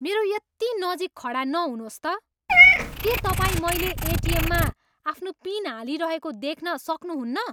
मेरो यति नजिक खडा नहुनुहोस् त! के तपाईँ मैले एटिएममा आफ्नो पिन हालिरहेको देख्न सक्नुहुन्न?